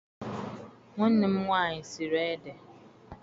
Nwanne m nwaanyị siri ede.